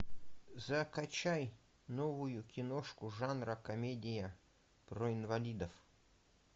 закачай новую киношку жанра комедия про инвалидов